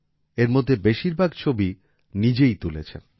এরমধ্যে বেশিরভাগ ছবি নিজেই তুলেছেন